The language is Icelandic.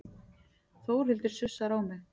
Þórhildur sussar á mig.